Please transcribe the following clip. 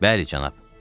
Bəli, cənab.